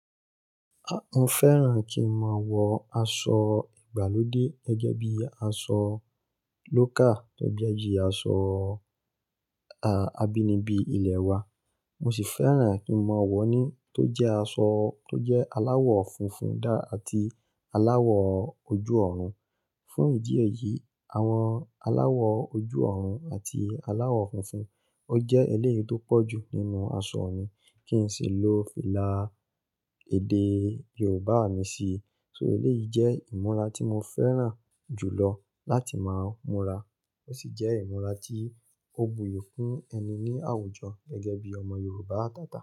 Mo fẹ́ran kí n máa wọ aṣọ ìgbàlódé gẹ́gẹ́ bí i aṣọ local tọ je bíi aṣọ, à, abínibí ilẹ̀ wa. Mo sì fẹ́ran kí n máa wọ̀ ní tó jẹ́ aṣọ tó jẹ́ aláwọ̀ funfun dá àti aláwọ̀ ojú-ọ̀run. Fún ìdí èyí, àwọn aláwọ̀ ojú-ọ̀run àti aláwọ̀ funfun, ó jẹ́ eléyìí tó pọ̀ jù nínú aṣọ mi kí n sì ló fìlà èdè Yorùbá mi sí i. So eléyìí jẹ́ ìmúra tí mo fẹ́ran jù lọ láti máa múra. Ó sì jẹ́ ìmúra tí ó buyì fún ẹni ní àwùjọ gẹ́gẹ́ bí i ọmọ Yorùbá atáta.